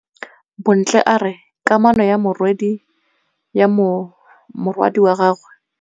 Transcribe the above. Bontle a re kamanô ya morwadi wa gagwe le Thato e bontsha lerato.